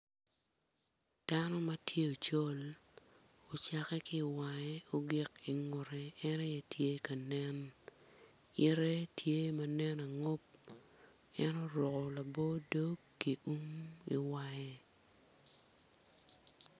Dano ma tye ocol ocakke ki i wange ogik i ngute tye ka nen yite tye ma nen angub en oruko lao dog ki um i wange.